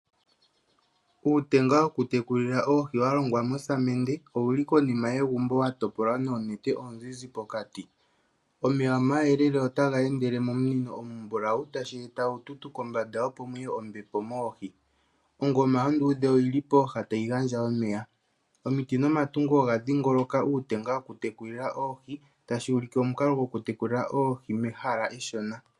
Uutenga wokutekulila oohi wa longwa mosamende owu li konima yegumbo wa topolwa noonete oozizi pokati. Omeya omayelele otaga endele mominino omimbulawu, tashi eta uututu kombanda, opo mu ye ombepo moohi. Ongoma onduudhe oyi li pooha tayi gandja omeya. Omiti nomatungo oga dhingoloka uutenga wokutekulila oohi, tashi ulike omukalo gokutekula oohi mehala eshona.